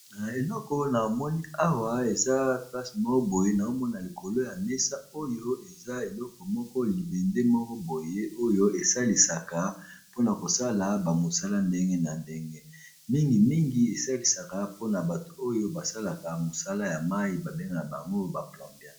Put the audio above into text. Naeleko na omoni awa eza plase moo boye na omona likolo ya mesa oyo eza eleko moko libende moko boye oyo esalisaka mpona kosala bamosala ndenge na ndenge mingimingi esalisaka mpona bato oyo basalaka mosala ya mai babengaa bango ba plombier.